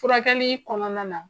Furakɛli kɔnɔna na